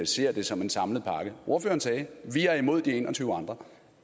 ser det som en samlet pakke ordføreren sagde vi er imod de en og tyve andre